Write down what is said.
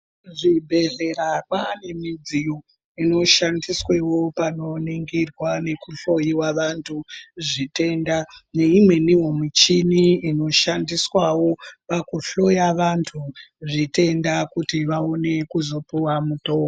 Zvibhehlera kwane midziyo inoshandiswewo panoningirwa nekuhlowiwa vantu zvitenda neimweniwo michini inoshandiswawo pakuhloya vantu zvitenda kuti vaone kuzopuwa mutombi.